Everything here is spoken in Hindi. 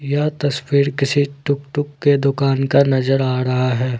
यह तस्वीर किसी टुकटुक के दुकान का नजर आ रहा है।